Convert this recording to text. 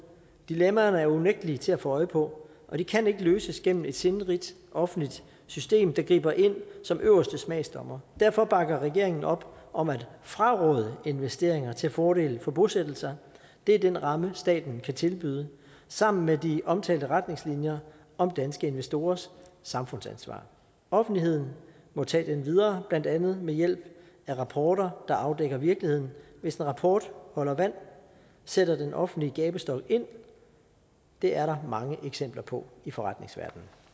dilemmaerne er unægtelig til at få øje på og det kan ikke løses gennem et sindrigt offentligt system der griber ind som øverste smagsdommer derfor bakker regeringen op om at fraråde investeringer til fordel for bosættelser det er den ramme staten kan tilbyde sammen med de omtalte retningslinjer om danske investorers samfundsansvar offentligheden må tage den videre blandt andet med hjælp fra rapporter der afdækker virkeligheden hvis en rapport holder vand sætter den offentlige gabestok ind det er der mange eksempler på i forretningsverdenen